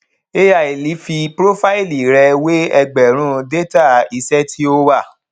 ai fi prófáìlì rẹ wé ẹgbẹrún détà iṣẹ tí ó wà